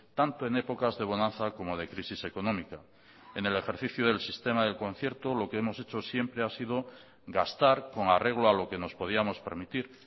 tanto en épocas de bonanza como de crisis económica en el ejercicio del sistema del concierto lo que hemos hecho siempre ha sido gastar con arreglo a lo que nos podíamos permitir